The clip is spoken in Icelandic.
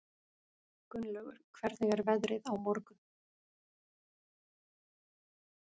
Gunnlaugur, hvernig er veðrið á morgun?